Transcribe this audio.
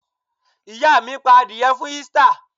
Ìyá mi pa adìẹ fún Easter!